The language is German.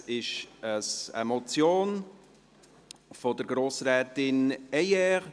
Es ist eine Motion von Grossrätin Heyer.